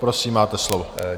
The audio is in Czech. Prosím, máte slovo.